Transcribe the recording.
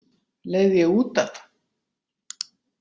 Leið ég út af?